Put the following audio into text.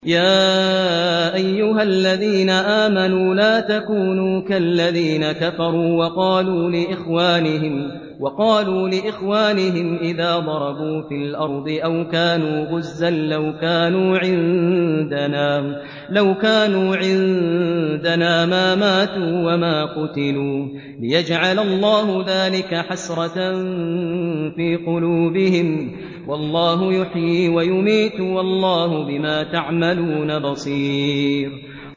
يَا أَيُّهَا الَّذِينَ آمَنُوا لَا تَكُونُوا كَالَّذِينَ كَفَرُوا وَقَالُوا لِإِخْوَانِهِمْ إِذَا ضَرَبُوا فِي الْأَرْضِ أَوْ كَانُوا غُزًّى لَّوْ كَانُوا عِندَنَا مَا مَاتُوا وَمَا قُتِلُوا لِيَجْعَلَ اللَّهُ ذَٰلِكَ حَسْرَةً فِي قُلُوبِهِمْ ۗ وَاللَّهُ يُحْيِي وَيُمِيتُ ۗ وَاللَّهُ بِمَا تَعْمَلُونَ بَصِيرٌ